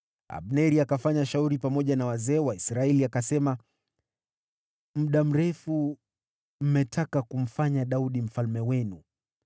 Abneri akafanya shauri pamoja na wazee wa Israeli, akasema, “Muda mrefu mmetaka kumfanya Daudi mfalme wenu.